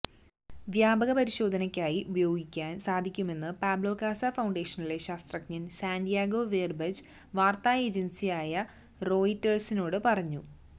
വ്യാപക പരിശോധനക്കായി ഉപയോഗിക്കാന് സാധിക്കുമെന്ന് പാബ്ലോ കാസ ഫൌണ്ടേഷനിലെ ശാസ്ത്രജ്ഞൻ സാന്റിയാഗോ വെര്ബജ് വാര്ത്താ ഏജന്സിസായ റോയിറ്റേഴ്സിനോട് പറഞ്ഞു